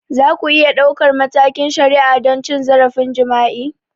Za ku iya ɗaukar matakin shari'a don cin zarafin jima'i?